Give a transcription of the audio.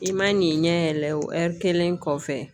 I ma n'i ɲɛ yɛlɛ o ɛri kelen kɔfɛ